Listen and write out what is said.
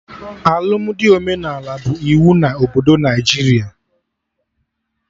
Alụmdi omenala bụ iwu na obodo Naijiria